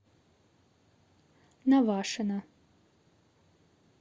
навашино